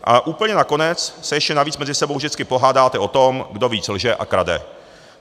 A úplně nakonec se ještě navíc mezi sebou vždycky pohádáte o tom, kdo víc lže a krade.